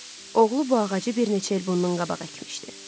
Oğlu bu ağacı bir neçə il bundan qabaq əkmişdi.